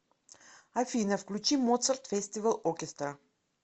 афина включи моцарт фестивал окестра